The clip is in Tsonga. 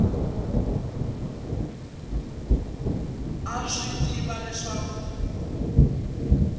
a swi tiva leswaku ku